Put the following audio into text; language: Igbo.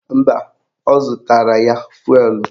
Mba, ọ zụtara fụelụ